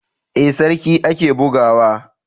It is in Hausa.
Ee, sarki ake buga wa.